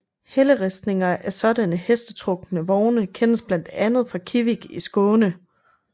Helleristninger af sådanne hestetrukne vogne kendes blandt andet fra Kivik i Skåne